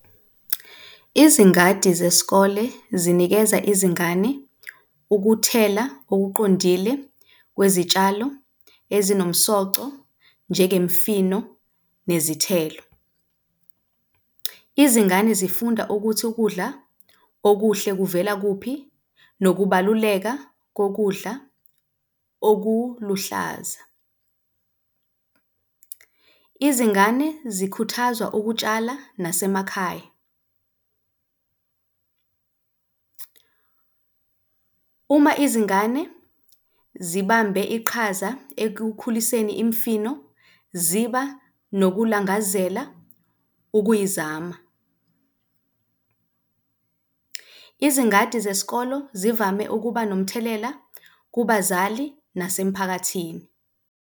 Izingadi zesikole zinikeza izingane ukuthela okuqondile kwezitshalo ezinomsoco njengemfino nezithelo. Izingane zifunda ukuthi ukudla okuhle kuvela kuphi nokubaluleka kokudla okuluhlaza. Izingane zikhuthazwa ukutshala nasemakhaya. Uma izingane zibambe iqhaza ekukhuliseni imfino ziba nokulangazela ukuyizama. Izingadi zesikolo zivame ukuba nomthelela kubazali nasemphakathini.